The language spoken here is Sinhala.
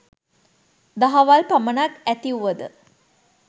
දහවල් පමණක් ඇතිවුවද